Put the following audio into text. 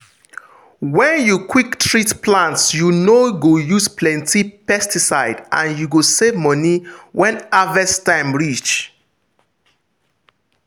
when you quick treat plant you no go use plenty pesticide and you go save money when harvest time reach.